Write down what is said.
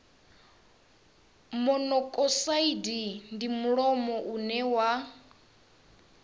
monokosaidi ndi mulimo une wa